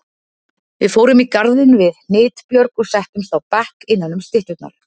Við fórum í garðinn við Hnitbjörg og settumst á bekk innanum stytturnar.